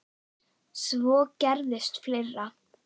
Svo gerðist fleira.